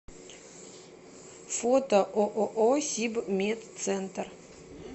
фото ооо сибмедцентр